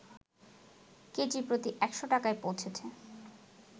KG প্রতি ১০০ টাকায় পৌঁছেছে